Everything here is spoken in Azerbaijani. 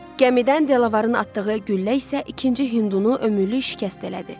Gəmidən Delavarın atdığı güllə isə ikinci hindunu ömürlük şikəst elədi.